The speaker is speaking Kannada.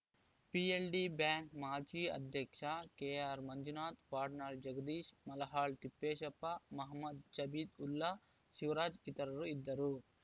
ಪಿಎಲ್‌ಡಿ ಬ್ಯಾಂಕ್‌ ಮಾಜಿ ಅಧ್ಯಕ್ಷ ಕೆಆರ್‌ಮಂಜುನಾಥ್‌ ವಡ್ನಾಳ್‌ ಜಗದೀಶ್‌ ಮಲಹಾಳ್‌ ತಿಪ್ಪೇಶಪ್ಪ ಮಹಮ್ಮದ್‌ ಜಬೀಉಲ್ಲಾ ಶಿವರಾಜ್‌ ಇತರರು ಇದ್ದರು